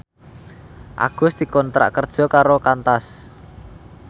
Agus dikontrak kerja karo Qantas